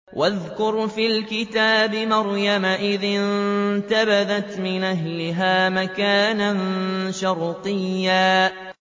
وَاذْكُرْ فِي الْكِتَابِ مَرْيَمَ إِذِ انتَبَذَتْ مِنْ أَهْلِهَا مَكَانًا شَرْقِيًّا